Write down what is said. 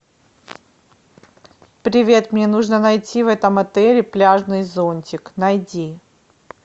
привет мне нужно найти в этом отеле пляжный зонтик найди